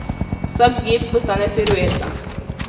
Vsak gib postane pirueta.